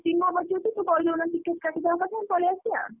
ହଉ ତୋର ଯଦି ଚିହ୍ନା ପରିଚୟ ଅଛି ଯଦି ତାକୁ କହିଦଉନ ticket କାଟିଦବା କଥା ଆମେ ପଲେଇଆସିବା।